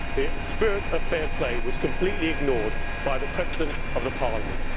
The spirit of fair play was completely ignored by the President of the Parliament.